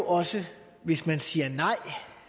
også hvis man siger nej